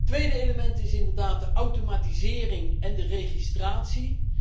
Tweede element is inderdaad de automatisering en de registratie.